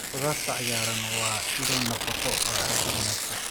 Khudaarta cagaaran waa ilo nafaqo oo aad u wanaagsan.